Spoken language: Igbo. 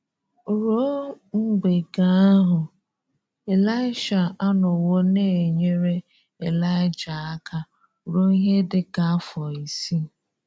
Rúò́ mbè̀gè̀ ahụ, Ị̀laị́sha anọ̀wò na-enyerè Ị̀laị́ja àka rúò́ ihe dị ka afọ̀ isii.